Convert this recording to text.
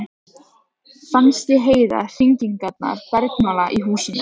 Fannst ég heyra hringingarnar bergmála í húsinu.